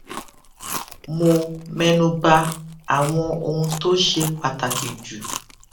mo mẹnuba àwọn ohun tó ṣe pàtàkì jù